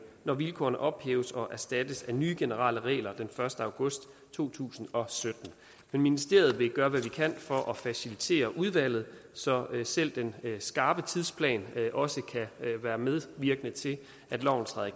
når vilkårene ophæves og erstattes af nye generelle regler den første august to tusind og sytten men ministeriet vil gøre hvad det kan for at facilitere udvalget så selv den skarpe tidsplan også kan være medvirkende til at loven træder